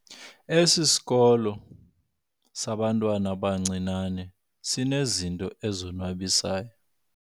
Esi sikolo sabantwana abancinane sinezinto ezonwabisayo.